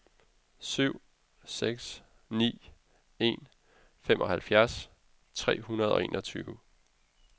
syv seks ni en femoghalvfems tre hundrede og enogtyve